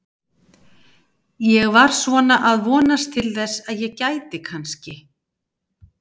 Ég var svona að vonast til þess að ég gæti kannski.